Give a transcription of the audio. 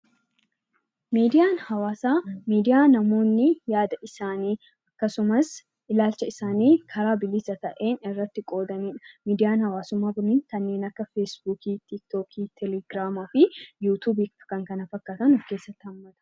Miidiyaan hawaasaa miidiyaa namoonni yaada isaanii akkasumas ilaalcha isaanii karaa bilisa ta'een miidiyaa irratti qoodamudha. Miidiyaan hawaasummaa kunniin kanneen akka feesbuukii, telegiraama, tiktookii, yuutuubii fi kanneen kana fakkaatan of keessatti hammata.